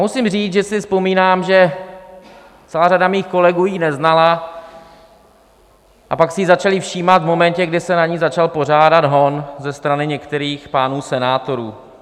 Musím říct, že si vzpomínám, že celá řada mých kolegů ji neznala a pak si jí začali všímat v momentě, kdy se na ni začal pořádat hon ze strany některých pánů senátorů.